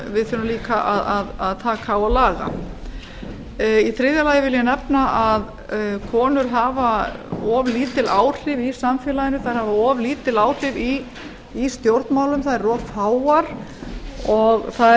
við þurfum líka að taka á og laga í þriðja lagi vil ég nefna að konur hafa of lítil áhrif í samfélaginu þær hafa of lítil áhrif í stjórnmálum þær eru of fáar og